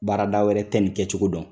Baarada wɛrɛ tɛ nin kɛ cogo dɔn